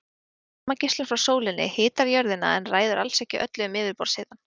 Varmageislun frá sólinni hitar jörðina en ræður alls ekki öllu um yfirborðshitann.